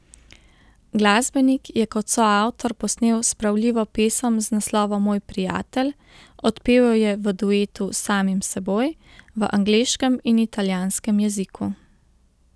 Glasbenik je kot soavtor posnel spravljivo pesem z naslovom Moj prijatelj, odpel jo je v duetu s samim seboj, v angleškem in italijanskem jeziku.